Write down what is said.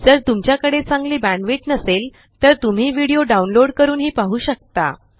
जर तुमच्या कडे चांगली बॅण्डविड्थ नसेल तर तुम्ही डाउनलोड करूनही पाहु शकता